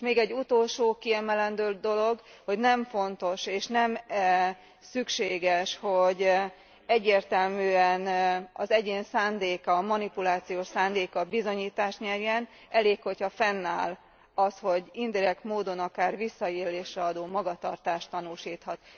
Még egy utolsó kiemelendő dolog hogy nem fontos és nem szükséges, hogy egyértelműen az egyén manipulációs szándéka bizonyítást nyerjen, elég, hogyha fennáll az, hogy indirekt módon akár visszaélésre alkalmat adó magatartást tanúsíthat.